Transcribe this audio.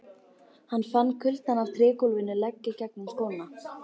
Hann fann kuldann af trégólfinu leggja gegnum sokkana.